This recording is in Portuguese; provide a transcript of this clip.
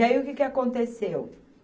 E aí o que que aconteceu?